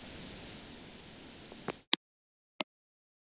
Þetta mun vekja áhuga fólks.